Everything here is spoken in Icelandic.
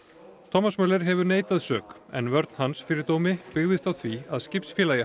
thomas Möller hefur neitað sök en vörn hans fyrir dómi byggðist á því að